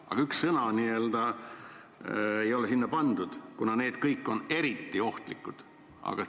Aga seda üht sõna ei ole sinna vahele pandud, kuigi need kõik on eriti ohtlikud nakkushaigused.